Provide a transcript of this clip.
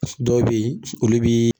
Dɔw be yen olu bi